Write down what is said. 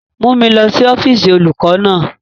Mu mi lọ si ọfiisi olukọ naa!